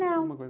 Não.